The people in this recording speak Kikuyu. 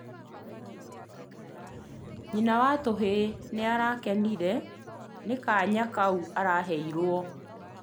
Nyina wa tũhĩ niarakenirio nĩ kaanya kau araheirwo